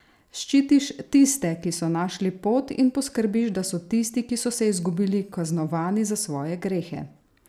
Ščitiš tiste, ki so našli pot, in poskrbiš, da so tisti, ki so se izgubili, kaznovani za svoje grehe?